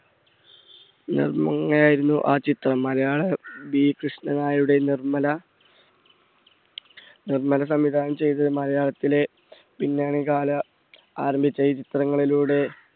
ആയിരുന്നു ആ ചിത്രം. മലയാള B കൃഷ്ണനായരുടെ നിർമ്മല നിർമ്മല സംവിധാനം ചെയ്ത് മലയാളത്തിലെ പിന്നണി കാല ആരംഭിച്ച ഈ ചിത്രങ്ങളിലൂടെ,